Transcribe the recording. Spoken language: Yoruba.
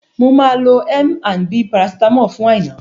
Mo máa lo M&B paracetamol fún Aina